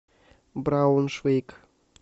брауншвейг